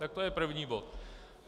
Tak to je první bod.